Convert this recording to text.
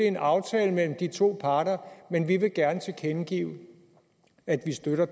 en aftale mellem de to parter men vi vil gerne tilkendegive at vi støtter